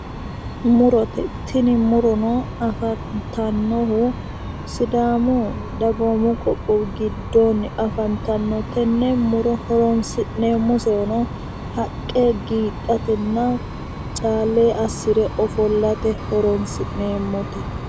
Murote. Tini murono afantannohu sidaamu dagoomu qoqqowi giddoonni afantannote. Tenne horoonsi'neemmosehuno haqqete, giidhatenna caale assire ofollate horoonsi'neemmote.